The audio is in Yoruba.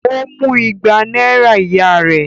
Ó mú igba náírà ìyá rẹ̀?